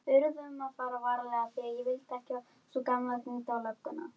Hann hló með sjálfum sér.